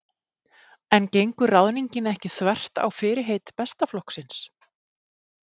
En gengur ráðningin ekki þvert á fyrirheit Besta flokksins?